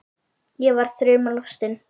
Ég var þrumu lostin.